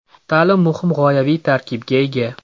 Ta’lim muhim g‘oyaviy tarkibga ega.